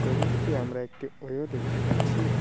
ছবিটিতে আমরা একটি ওয়ো দেখতে পাচ্ছি।